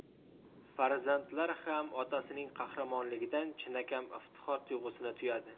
Farzandlar ham otasining qahramonligidan chinakam iftixor tuyg‘usini tuyadi.